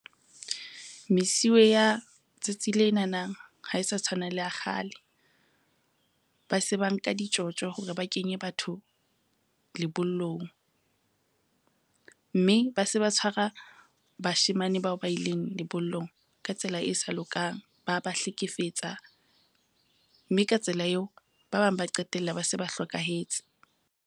Mesuwe ya tsatsing lenana ha e sa tshwana le ya kgale. Ba se ba nka ditjotjo hore ba kenye batho lebollong, mme ba se ba tshwara bashemane bao ba ileng lebollong ka tsela e sa lokang, ba ba hlekefetsa mme ka tsela eo ba bang ba qetella ba se ba hlokahetse.